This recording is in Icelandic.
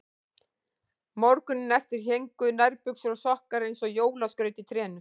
Morguninn eftir héngu nærbuxur og sokkar eins og jólaskraut í trénu.